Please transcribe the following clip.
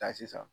Taa sisan